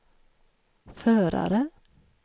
förare